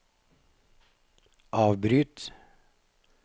avbryt